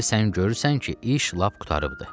İndi sən görürsən ki, iş lap qurtarıbdır.